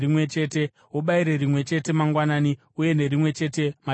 Ubayire rimwe chete mangwanani uye nerimwe chete madekwana.